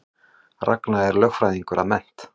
Ragna er lögfræðingur að mennt